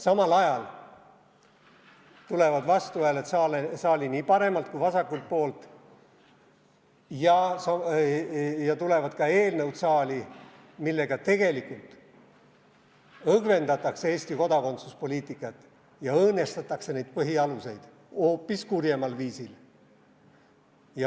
Samal ajal tulevad vastuhääled nii saali paremalt kui vasakult poolt ja tulevad ka eelnõud, millega tegelikult õgvendatakse Eesti kodakondsuspoliitikat ja õõnestatakse neid põhialuseid hoopis kurjemal viisil.